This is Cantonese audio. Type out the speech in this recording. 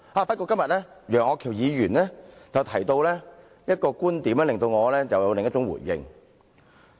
不過，楊岳橋議員今天提到一個觀點，令我想到了另一種回應。